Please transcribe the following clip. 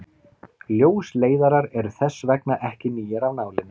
ljósleiðarar eru þess vegna ekki nýir af nálinni